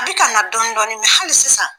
A bɛ ka na dɔɔnin-dɔɔnin hali sisan